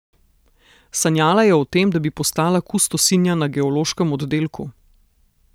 Sanjala je o tem, da bi postala kustosinja na geološkem oddelku.